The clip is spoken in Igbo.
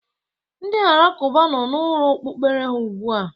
Ndị alakụba nọ n'ụlọ okpukpere ha ugbu a.